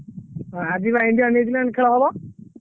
ହଁ ଆଜି ବା India- New Zealand ଖେଳ ହବ।